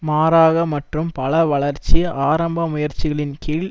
மாறாக மற்றும் பல வளர்ச்சி ஆரம்ப முயற்சிகளின் கீழ்